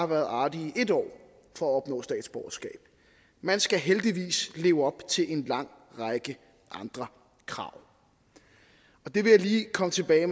været artig i en år for at opnå statsborgerskab man skal heldigvis leve op til en lang række andre krav det vil jeg lige komme tilbage